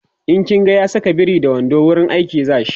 in kin ga ya Saka biri da wando wurin aiki zashi